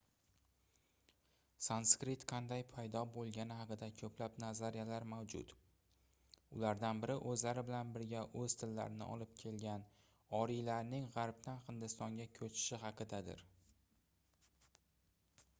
sanskrit qanday paydo boʻlgani haqida koʻplab nazariyalar mavjud ulardan biri oʻzlari bilan birga oʻz tillarini olib kelgan oriylarning gaʼrbdan hindistonga koʻchishi haqidadir